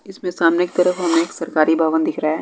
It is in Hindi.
इसमें सामने की तरफ हमे एक सरकारी भवन दिख रहा है।